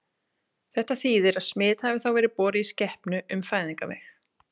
Þetta þýðir að smit hafi þá verið borið í skepnu um fæðingarveg.